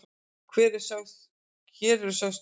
Hér eru sögð stór orð.